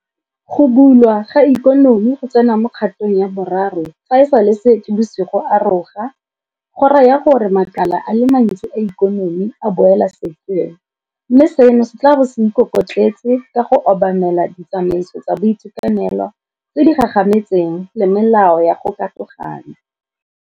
Go bulwa ga ikonomiGo tsena mo kgatong ya boraro fa e sale Seetebosigo a roga, go raya gore makala a le mantsi a ikonomi a boela sekeng, mme seno se tla bo se ikokotletse ka go obamela ditsamaiso tsa boitekanelo tse di gagametseng le melao ya go katogana.